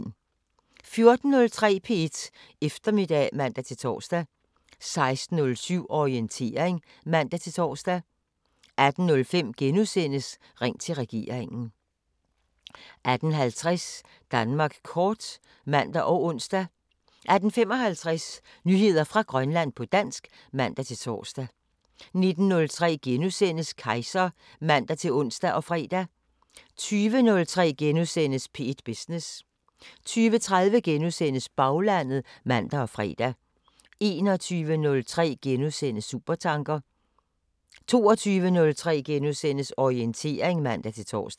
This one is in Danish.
14:03: P1 Eftermiddag (man-tor) 16:07: Orientering (man-tor) 18:05: Ring til regeringen * 18:50: Danmark kort (man og ons) 18:55: Nyheder fra Grønland på dansk (man-tor) 19:03: Kejser *(man-ons og fre) 20:03: P1 Business * 20:30: Baglandet *(man og fre) 21:03: Supertanker * 22:03: Orientering *(man-tor)